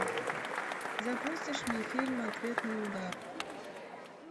запустишь мне фильм ответный удар